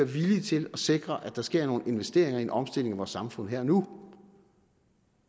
villige til at sikre at der sker nogle investeringer i en omstilling af vores samfund her og nu